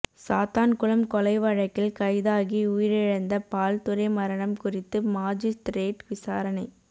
சாத்தான்குளம் கொலை வழக்கில் கைதாகி உயிரிழந்த பால்துரை மரணம் குறித்து மாஜிஸ்திரேட் விசாரணை